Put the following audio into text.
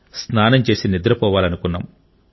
స్నానం చేసి నిద్రపోవాలనుకున్నాం